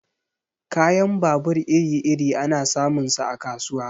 Kayan babur iri-iri ana samun sa a kasuwa.